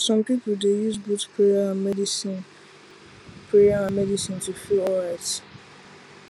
some people dey use both prayer and medicine prayer and medicine to feel alright